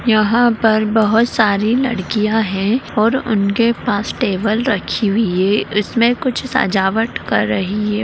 यहाँ पर बहुत सारी लड़कियां है और उनके पास टेबल रखी हुई है इसमें कुछ सजावट कर रही है।